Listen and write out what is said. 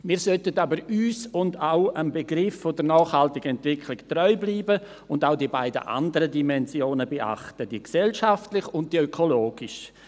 Wir sollten aber uns und auch dem Begriff der nachhaltigen Entwicklung treu bleiben und auch die beiden anderen Dimensionen beachten, die gesellschaftliche und die ökologische.